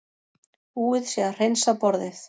Búið sé að hreinsa borðið.